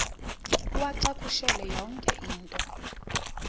uwacakushele yonke into